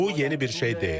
Bu yeni bir şey deyil.